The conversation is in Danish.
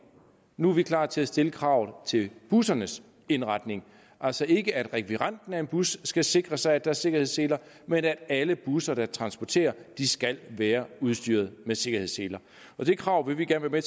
nu er vi klar til at stille kravet til bussernes indretning altså ikke at rekvirenten af en bus skal sikre sig at der er sikkerhedsseler men at alle busser der transporterer skal være udstyret med sikkerhedsseler det krav vil vi gerne være